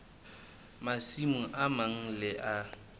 masimo a mang le a